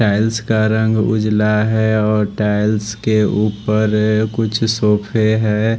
Tiles का रंग उजला हैं और टाइल्स के ऊपर ये कुछ सोफे है।